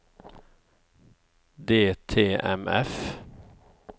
DTMF